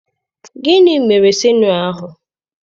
Gịnị mere sinịọ ahụ?